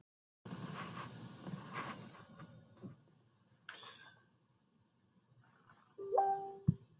Skothvellirnir trylltu fuglana og kindurnar pilluðu sig burtu.